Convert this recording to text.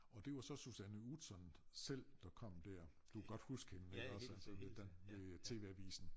Og det var så Susanne Utzon selv der kom dér du kan godt huske hende iggås altså ved ved TV Avisen